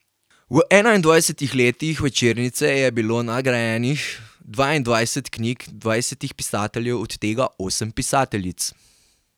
V enaindvajsetih letih večernice je bilo nagrajenih dvaindvajset knjig dvajsetih pisateljev, od tega osmih pisateljic.